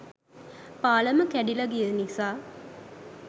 පාලම කැඩිල ගිය නිසා